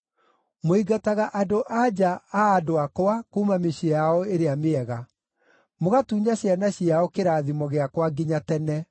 Mũingataga andũ‑a‑nja a andũ akwa kuuma mĩciĩ yao ĩrĩa mĩega. Mũgatunya ciana ciao kĩrathimo gĩakwa nginya tene.